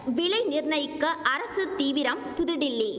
விலை நிர்ணயிக்க அரசு தீவிரம் புதுடில்லி